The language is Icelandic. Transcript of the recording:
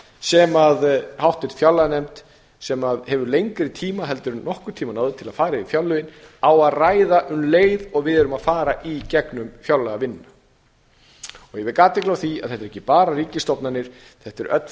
sem háttvirt fjárlaganefnd sem hefur lengri tíma heldur en nokkurn tíma áður til að fara yfir fjárlögin á að ræða um leið og við erum að fara í gegnum fjárlagavinnuna og ég vek athygli á því að þetta eru ekki bara ríkisstofnanir þetta eru öll